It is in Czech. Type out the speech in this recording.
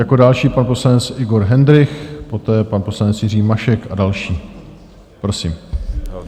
Jako další pan poslanec Igor Hendrych, poté pan poslanec Jiří Mašek a další, prosím.